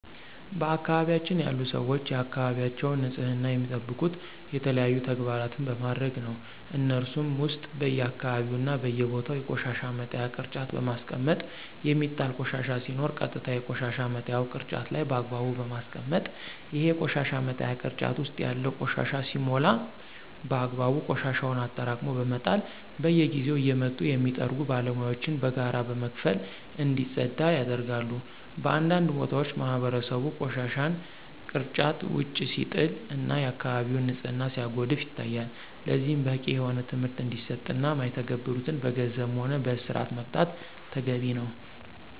በአካባቢያችን ያሉ ሰወች የአካባቢያቸውን ንፅህና የሚጠብቁት የተለያዩ ተግባራን በማድረግ ነው። ከነሱሞ ውስጥ በየአካባቢው እና በየቦታው የቆሻሻ መጣያ ቅርጫት በማስቀመጥ የሚጣል ቆሻሻ ሲኖር ቀጥታ የቆሻሻ መጣያው ቅርጫት ላይ በአግባቡ በማስቀመጥ፣ ይሄ የቆሻሻ መጣያ ቅርጫት ውስጥ ያለው ቆሻሻ ሲሞላ በአግባቡ ቆሻሻውን አጠራቅሞ በመጣል፣ በየጊዜው እየመጡ የሚጠርጉ ባለሙያወችን በጋራ በመክፈል እንዲፀዳ ያደርጋሉ። በአንዳንድ ቦታዎች ማህበረሰቡ ቆሻሻን ግርጫት ውጭ ሲጥል እና የአከባቢውን ንፅህና ሲያጎድፍ ይታያል። ለዚህም በቂ የሆነ ትምህርት እንዲሰጥ እና ማይተገብሩትን በገንዘብም ሆነ በእስር መቅጣት ተገቢ ነው።